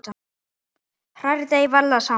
Hrærið deigið varlega saman.